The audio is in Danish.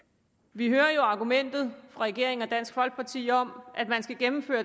vi hører jo argumentet fra regeringen og dansk folkeparti om at man skal gennemføre